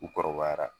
U kɔrɔbayara